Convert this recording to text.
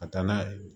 Ka taa n'a ye